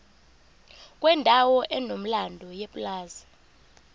kwendawo enomlando yepulazi